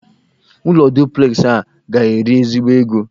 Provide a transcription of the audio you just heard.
Ụlọ duplexị a ga-eri ezigbo ego